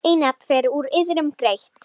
Einatt fer úr iðrum greitt.